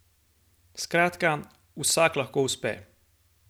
Skratka, vsak lahko uspe.